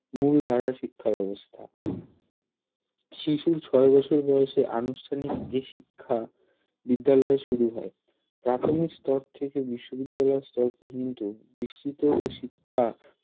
মুল্ধারার শিক্ষা ব্যাবস্থা শিশুর ছয় বছর বয়সে আনুষ্ঠানিক এই শিক্ষা বিদ্যালয়ে শুরু হয় প্রাথমিক স্তর থেকে বিশ্ববিদ্যালয় স্তর পর্যন্ত বিস্তৃত এই শিক্ষা